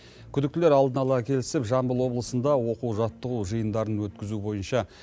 күдіктілер алдын ала келісіп жамбыл облысында оқу жаттығу жиындарын өткізу бойынша